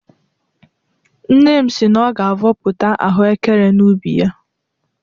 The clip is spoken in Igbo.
Nne m si na ọ ga-avọpụta ahụekere n'ubi ya.